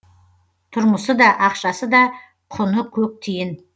тұрмысы да ақшасы да құны көк тиын